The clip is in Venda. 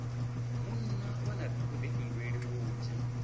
munna vha na vhuḓifhinduleli vhunzhi